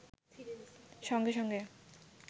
সঙ্গে-সঙ্গে